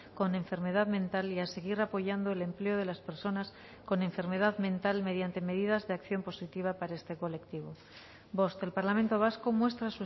con enfermedad mental y a seguir apoyando el empleo de las personas con enfermedad mental mediante medidas de acción positiva para este colectivo bost el parlamento vasco muestra